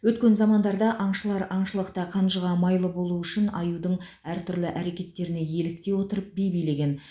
өткен замандарда аңшылар аңшылықта қанжыға майлы болу үшін аюдың әртүрлі әрекеттеріне еліктей отырып би билеген